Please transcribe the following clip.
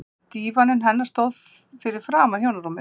Dívaninn hennar stóð fyrir aftan hjónarúmið.